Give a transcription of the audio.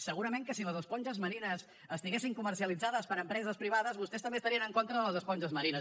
segurament que si les esponges marines estiguessin comercialitzades per empreses privades vostès també estarien en contra de les esponges marines